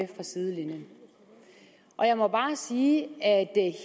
fra sidelinjen og jeg må bare sige at